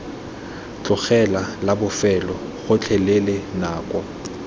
tlogela la bofelo gotlhelele nako